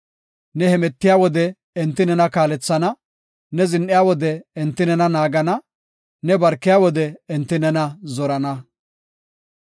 Ne hemetiya wode enti nena kaalethana; ne zin7iya wode, enti nena naagana; ne barkiya wode enti nena zorana.